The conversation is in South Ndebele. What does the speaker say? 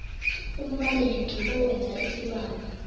umbaleki owenza isibawo